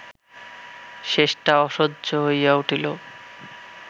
শেষটা অসহ্য হইয়া উঠিল